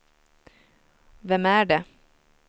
vem är det